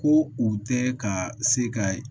Ko u tɛ ka se ka